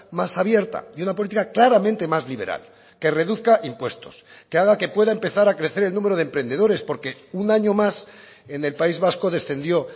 más abierta y una política claramente más liberal que reduzca impuestos que haga que pueda empezar a crecer el número de emprendedores porque un año más en el país vasco descendió